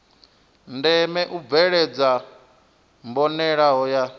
ndeme u bveledzwa mbonalelo ya